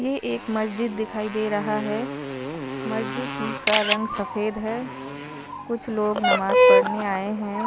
ये एक मस्जिद दिखाई दे रहा है मस्जिद का रंग सफ़ेद है कुछ लोग नमाज़ पढ़ने आए हैं।